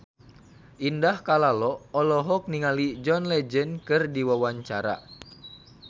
Indah Kalalo olohok ningali John Legend keur diwawancara